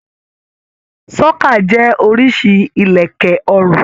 Ṣókà jẹ oriṣi ilẹkẹ ọrùn.